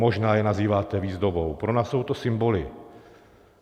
Možná je nazýváte výzdobou, pro nás jsou to symboly.